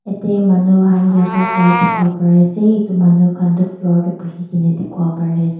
yadae manu Haan yoga kura dikipo pari asae etu manu khan toh floor dae buhikina dikipo pari asae.